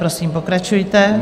Prosím, pokračujte.